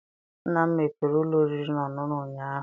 Nna m mepere ụlọ oriri na ọṅụṅụ ụnyaahụ.